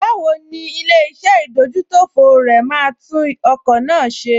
Báwo ni ilé-iṣẹ́ ìdójútòfò rẹ máa tún ọkọ̀ náà ṣe?